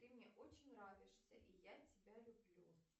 ты мне очень нравишься и я тебя люблю